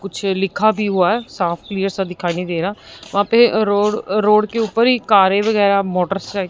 कुछ लिखा भी हुआ है साफ क्लियर सा दिखाई नहीं दे रहा वहां पे रोड रोड के ऊपर ही कारे वगैरा मोटरसाइ --